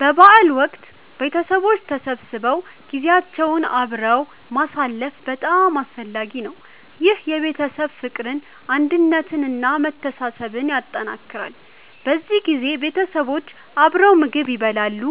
በበዓል ወቅት ቤተሰቦች ተሰብስበው ጊዜያቸውን አብረው ማሳለፍ በጣም አስፈላጊ ነው። ይህ የቤተሰብ ፍቅርን፣ አንድነትን እና መተሳሰብን ያጠናክራል። በዚህ ጊዜ ቤተሰቦች አብረው ምግብ ይበላሉ፣